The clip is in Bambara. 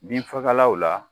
Bin fagalaw la